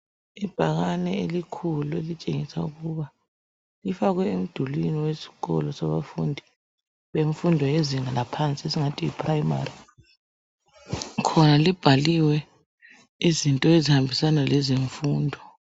Ibhakane elikhulu elitshengisa ukuba lifakwe emdulini wesikolo sabafundi bemfundo yezinga laphansi esingathi yi primary khona libhaliwe izinto ezihambisana lemfundo.